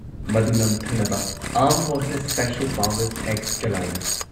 ꯃꯗꯨ ꯅꯝꯊꯅꯕ armed forces special powers act ꯆꯂꯥꯏꯔꯤ ꯫